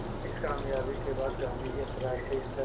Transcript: इस क़ामयाबी के बाद गांधी अंतरराष्ट्रीय स्तर